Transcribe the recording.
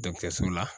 la